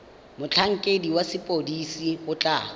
motlhankedi wa sepodisi o tla